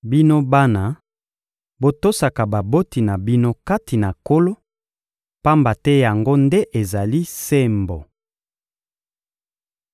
Bino bana, botosaka baboti na bino kati na Nkolo, pamba te yango nde ezali sembo.